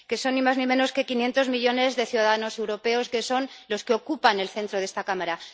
Que son ni más ni menos que quinientos millones de ciudadanos europeos, que son los que ocupan el centro de esta Cámara.